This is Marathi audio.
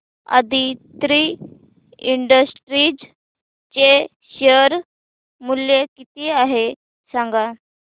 आदित्रि इंडस्ट्रीज चे शेअर मूल्य किती आहे सांगा